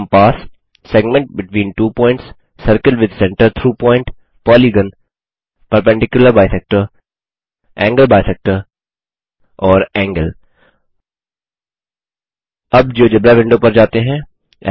compass segment between two points circle with centre through point polygon perpendicular bisector angle bisector and angle अब GeoGebra window पर जाते हैं